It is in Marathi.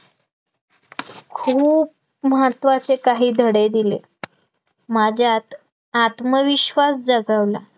खूप महत्त्वाचे काही धडे दिले, माझ्यात आत्मविश्वास जगवला